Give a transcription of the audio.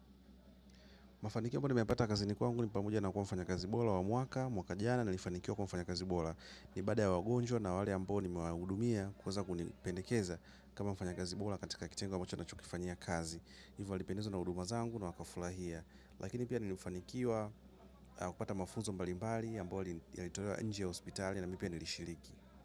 Mafanikio ambayo nimeyapata kazini kwangu ni pamoja na kuwa mfanyakazi bora wa mwaka, mwaka jana nilifanikiwa kuwa mfanyakazi bora. Ni baada ya wagonjwa na wale ambao nimewahudumia kuweza kunipendekeza kama mfanyakazi bora katika kitengo ambacho ninachokifanyia kazi. Hivyo walipendezwa na huduma zangu na wakafurahia. Lakini pia nilifanikiwa kupata mafunzo mbalimbali ambayo yalitolewa nje ya hospitali na mimi pia nilishiriki.